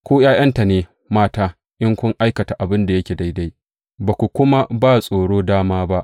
Ku ’ya’yanta ne mata in kun aikata abin da yake daidai, ba ku kuma ba tsoro dama ba.